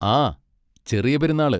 ആ! ചെറിയ പെരുന്നാള്.